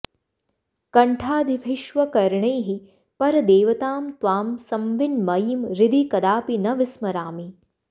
कण्ठादिभिश्व करणैः परदेवतां त्वां संविन्मयीं हृदि कदापि न विस्मरामि